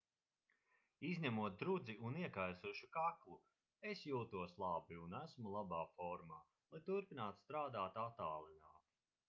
izņemot drudzi un iekaisušu kaklu es jūtos labi un esmu labā formā lai turpinātu strādāt attālināti